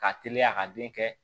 K'a teliya ka den kɛ